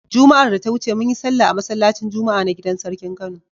Juma'ar da ta wuce mun yi sallah a masallacin Juma'a na gidar sarkin Kano.